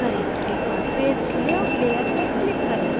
एक बार फिर layout layer पर click करें